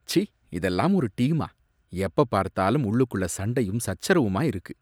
ச்சீ, இதெல்லாம் ஒரு டீமா, எப்பப் பார்த்தாலும் உள்ளுக்குள்ள சண்டையும் சச்சரவுமா இருக்கு